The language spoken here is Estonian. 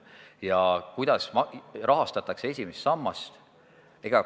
Ja kuidas rahastatakse esimest sammast?